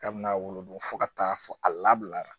K'a bɛna wolo don fo ka taa fɔ a lablara